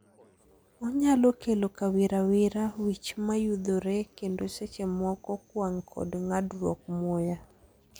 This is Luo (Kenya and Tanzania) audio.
Onyalo kelo kawirawira, wich mayudhore, kendo seche moko, kwang' kod ng'adruok muya.